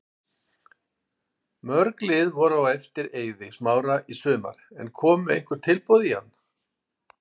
Mörg lið voru á eftir Eiði Smára í sumar en komu einhver tilboð í hann?